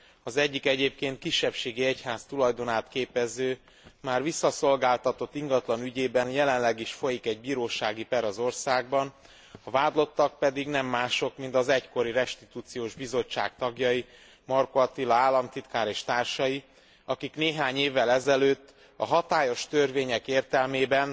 Az egyik egyébként kisebbségi egyház tulajdonát képező már visszaszolgáltatott ingatlan ügyében jelenleg is folyik egy bírósági per az országban, a vádlottak pedig nem mások, mint az egykori restitúciós bizottság tagjai, Markó Attila államtitkár és társai, akik néhány évvel ezelőtt a hatályos törvények értelmében,